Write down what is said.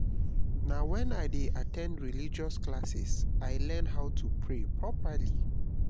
na wen i dey at ten d religious classes i learn how to pray properly.